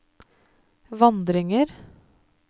vandringer